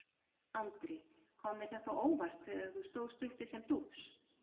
Andri: Kom þér þetta á óvart þegar þú stóðst uppi sem dúx?